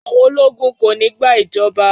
Àwọn ológun kò ní gba ìjọba!